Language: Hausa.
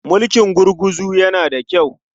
Mulkin gurguzu yana da kyau.